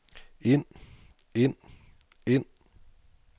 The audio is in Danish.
ind ind ind